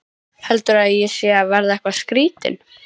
Heldurðu að ég sé að verða eitthvað skrýtinn?